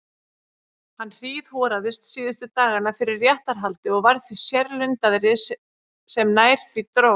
Hann hríðhoraðist síðustu dagana fyrir réttarhaldið og varð því sérlundaðri sem nær því dró.